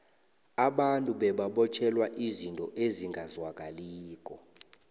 abantu bebabotjhelwa izinto ezingazwakaliko